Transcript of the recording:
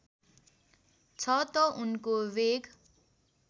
छ त उनको वेग